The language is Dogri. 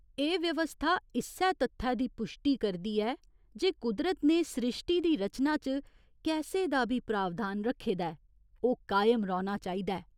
एह् व्यवस्था इस्सै तत्थै दी पुश्टी करदी ऐ जे कुदरत ने स्रिश्टी दी रचना च कैसे दा बी प्रावधान रक्खे दा ऐ, ओह् कायम रौह्‌ना चाहिदा ऐ।